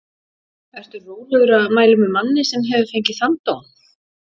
Ertu rólegur að mæla með manni sem að hefur fengið þann dóm?